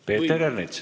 Peeter Ernits.